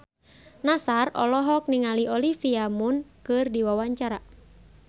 Nassar olohok ningali Olivia Munn keur diwawancara